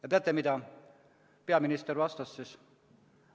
Ja teate, mida peaminister vastas?